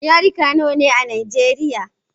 Yarika nawa ne a Nijeriya?